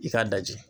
I k'a lajɛ